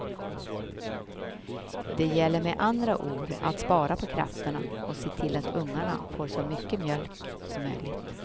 Det gäller med andra ord att spara på krafterna och se till att ungarna får så mycket mjölk som möjligt.